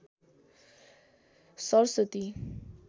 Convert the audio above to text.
Saraswati